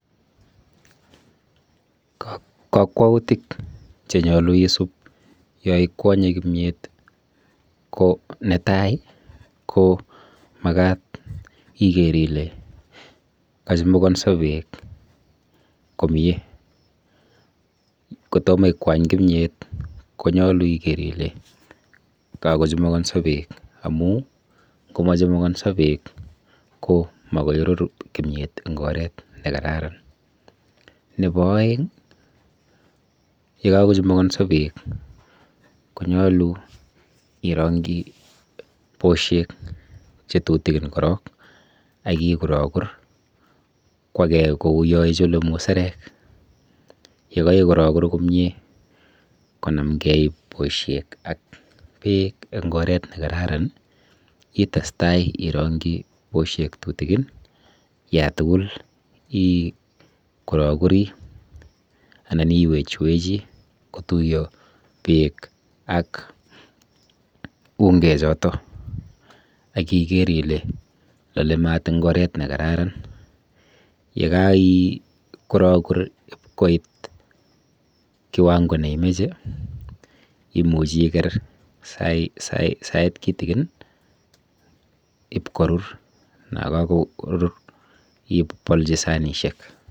Kakwoutik chenyolu isub yoikwonye kimyet ko netai ko makat iker ile kachumukonso beek komie. Kotomo ikwany kimyet konyolu iker ile kakochumukonso beek amu ngomachumukonso beek ko makorur kimiet eng oret nekararan. Nepo oeng yekakochumukonso beek konyolu irong'chi boshek chetutikin korok akikurokur kwakei kuyo ichule muserek. yekaikurokur komie konamgei boshek ak beek eng oret nekararan itestai irong'chi boshek tutikin yatugul ikurokuri anan iwechwechi kotuiyo beek ak ungechoto akiker ile lole mat eng oret nekararan. Yekaikurokur koit kiwango neimeche imuchi iker sait kitikin ipkorur nakakorur ipolchi sanishek.